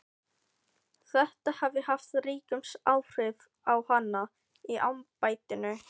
Þetta hafi haft ríkust áhrif á hana í embættinu.